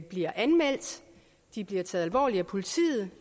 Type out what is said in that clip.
bliver anmeldt at de bliver taget alvorligt af politiet